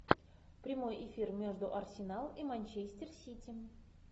прямой эфир между арсенал и манчестер сити